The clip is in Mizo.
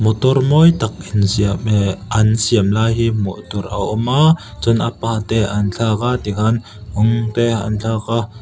motor mawi tak an siam lai hi hmuh tur a awm a chuan a part te an thlak a tikhan rawng te an thlak a.